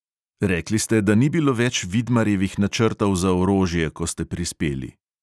Rekli ste, da ni bilo več vidmarjevih načrtov za orožje, ko ste prispeli.